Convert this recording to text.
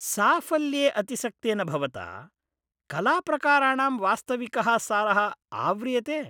साफल्ये अतिसक्तेन भवता कलाप्रकाराणां वास्तविकः सारः आव्रियते।